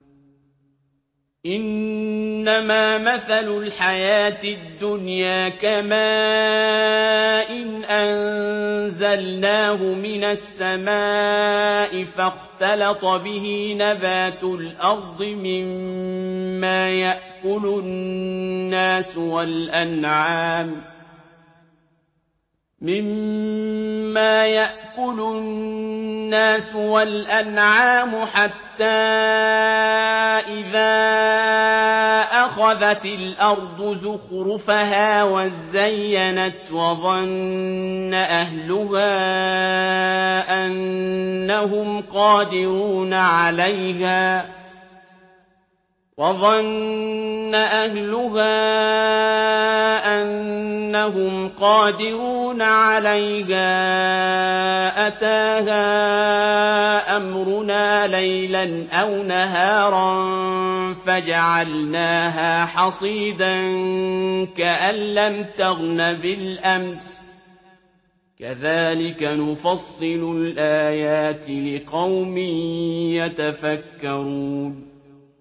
إِنَّمَا مَثَلُ الْحَيَاةِ الدُّنْيَا كَمَاءٍ أَنزَلْنَاهُ مِنَ السَّمَاءِ فَاخْتَلَطَ بِهِ نَبَاتُ الْأَرْضِ مِمَّا يَأْكُلُ النَّاسُ وَالْأَنْعَامُ حَتَّىٰ إِذَا أَخَذَتِ الْأَرْضُ زُخْرُفَهَا وَازَّيَّنَتْ وَظَنَّ أَهْلُهَا أَنَّهُمْ قَادِرُونَ عَلَيْهَا أَتَاهَا أَمْرُنَا لَيْلًا أَوْ نَهَارًا فَجَعَلْنَاهَا حَصِيدًا كَأَن لَّمْ تَغْنَ بِالْأَمْسِ ۚ كَذَٰلِكَ نُفَصِّلُ الْآيَاتِ لِقَوْمٍ يَتَفَكَّرُونَ